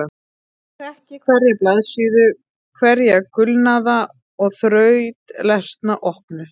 Ég þekkti hverja blaðsíðu, hverja gulnaða og þrautlesna opnu